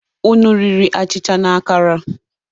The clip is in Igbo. Unu riri achịcha na akara?